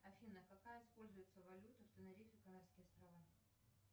афина какая используется валюта в тенерифе канарские острова